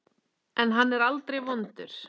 En hann er aldrei vondur.